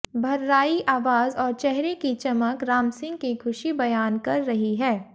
भर्राई आवाज और चेहरे की चमक रामसिंह की खुशी बयान कर रही है